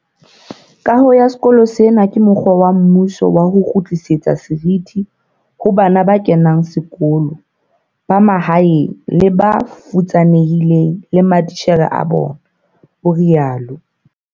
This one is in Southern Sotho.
"Kaho ya sekolo sena ke mokgwa wa mmuso wa ho kgutlisetsa seriti ho bana ba kenang sekolo ba mahaeng le ba futsanehileng le matitjhere a bona," o rialo.